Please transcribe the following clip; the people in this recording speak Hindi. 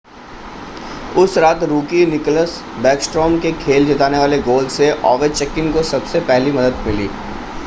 उस रात रूकी निकल्स बैकस्ट्रॉम के खेल जिताने वाले गोल से ओवेचकिन को सबसे पहली मदद मिली